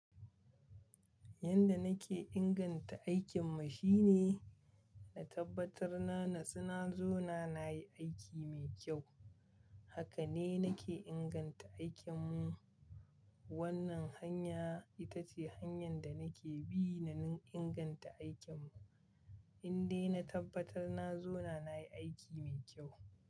Yanda nake inganta aikinmu shine na tabbatar na natsina zona nayi aiki mai kyau. Haka ne nake inganta aikinmu. Wannan hanya itace hanyan da nake bi na inganta aikinmu. Inde na tabbatar na zona nayi aiki mai kyau.